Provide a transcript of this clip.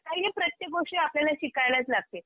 काही हे प्रत्येक गोष्टी आपल्याला शिकायलाच लागते.